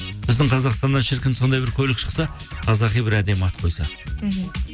біздің қазақстаннан шіркін сондай бір көлік шықса қазақи бір әдемі ат қойса мхм